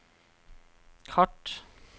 kart